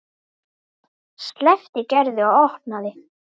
Örn sleppti Gerði og opnaði.